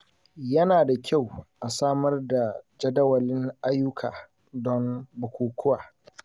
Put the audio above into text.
Yana da kyau a samar da jadawalin ayyuka don bukukuwa.